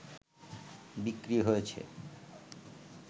বিক্রি হয়েছে